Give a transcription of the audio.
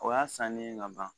O y'a sannen ka ban